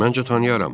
Məncə tanıyaram.